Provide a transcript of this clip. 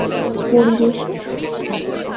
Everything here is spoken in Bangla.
পরিবেশে থাকে।